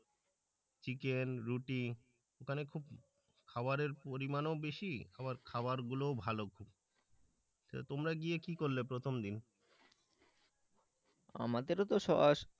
Chicken রুটি ওখানে খুব খাবারের পরিমাণও বেশি আবার খাবারগুলোও ভালো খুব। তোমরা গিয়ে কি করলে প্রথম দিন? আমাদেরও তো সস,